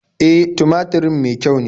E, tumaturin me kyau ne.